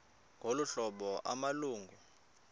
ngolu hlobo amalungu